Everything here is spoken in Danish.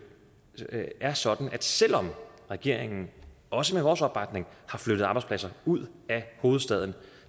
er sådan at selv om regeringen også med vores opbakning har flyttet arbejdspladser ud af hovedstaden